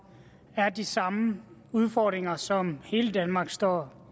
er de samme udfordringer som hele danmark står